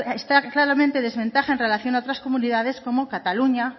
está claramente en desventaja en relación a otras comunidades como cataluña